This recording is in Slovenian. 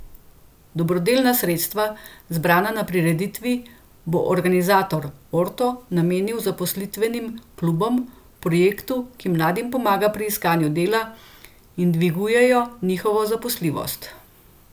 Dobrodelna sredstva, zbrana na prireditvi, bo organizator Orto namenil zaposlitvenim klubom, projektu, ki mladim pomaga pri iskanju dela in dvigujejo njihovo zaposljivost.